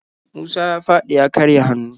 Musa ya faɗi ya karya hannu.